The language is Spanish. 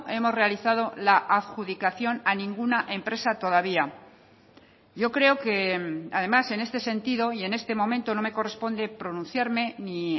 hemos realizado la adjudicación a ninguna empresa todavía yo creo que además en este sentido y en este momento no me corresponde pronunciarme ni